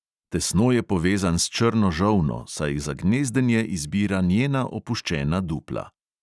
Tesno je povezan s črno žolno, saj za gnezdenje izbira njena opuščena dupla.